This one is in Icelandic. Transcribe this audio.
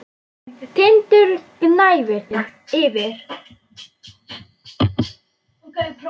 Tindur gnæfir yfir.